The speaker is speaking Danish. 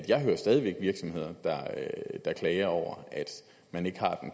jeg hører stadig væk virksomheder der klager over at man ikke har den